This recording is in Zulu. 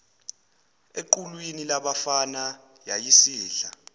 equlwini labafana yayisidla